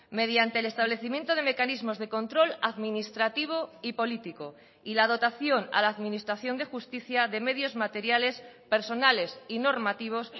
mediante el establecimiento de mecanismos de control administrativo y político y la dotación a la administración de justicia de medios materiales personales y normativos